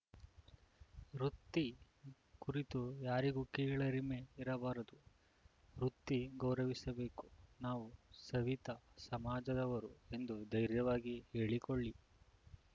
ವೃತ್ತಿ ಕುರಿತು ಯಾರಿಗೂ ಕೀಳರಿಮೆ ಇರಬಾರದು ವೃತ್ತಿ ಗೌರವಿಸಬೇಕು ನಾವು ಸವಿತಾ ಸಮಾಜದವರು ಎಂದು ಧೈರ್ಯವಾಗಿ ಹೇಳಿಕೊಳ್ಳಿ